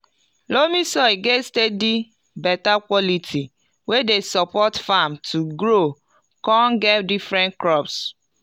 loamy soil get steady beta quality wey dey support farm to grow con get different crops